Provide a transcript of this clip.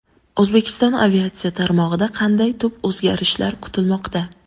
O‘zbekiston aviatsiya tarmog‘ida qanday tub o‘zgarishlar kutilmoqda?.